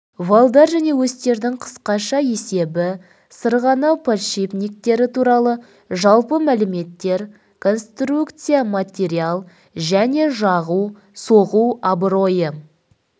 валдар және осьтердің қысқаша есебі сырғанау подшипниктері туралы жалпы мәліметтер конструкция материал және жағу соғу абыройы